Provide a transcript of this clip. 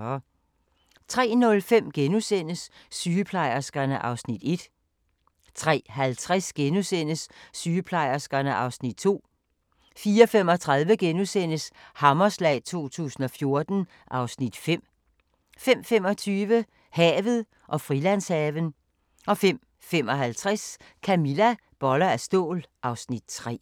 03:05: Sygeplejerskerne (Afs. 1)* 03:50: Sygeplejerskerne (Afs. 2)* 04:35: Hammerslag 2014 (Afs. 5)* 05:25: Havet og Frilandshaven 05:55: Camilla - boller af stål (Afs. 3)